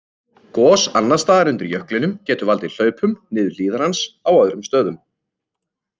Gos annars staðar undir jöklinum geta valdið hlaupum niður hlíðar hans á öðrum stöðum.